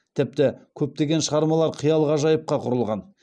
тіпті көптеген шығармалар қиял ғажайыпқа құрылған